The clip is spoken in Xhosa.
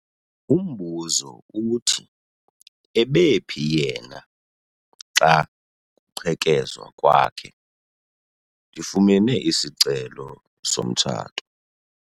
Umbuzo uthi ebephi yena xa kuqhekezwa kwakhe? ndifumene isicelo somtshato